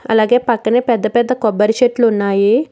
అలాగే పక్కనే పెద్ద పెద్ద కొబ్బరి చెట్లు ఉన్నాయి.